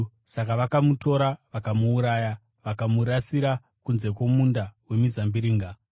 Saka vakamutora vakamuuraya, vakamurasira kunze kwomunda wemizambiringa.